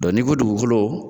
ni ko dugukolo